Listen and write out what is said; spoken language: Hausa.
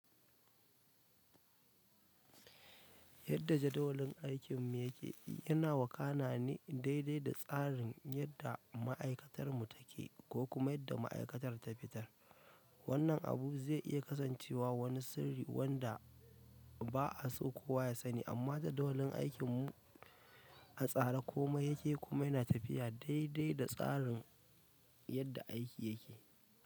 Yadda jadawalin aikin mu yake, yana wakana ne daidai da tsarin yadda ma'aikatar mu take ko kuma yadda ma'aikatar ta fitar. Wannan abu ze iya kasancewa wani sirri wanda ba'a so kowa yasani, amma jadawalin aikinmu a tsare komai yake, komai yana tafiya daidai da tsarin yadda aiki yake.